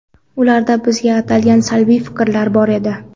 Ularda bizga atalgan salbiy fikrlar bor edi.